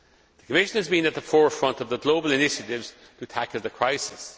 The Commission has been at the forefront of the global initiatives to tackle the crisis.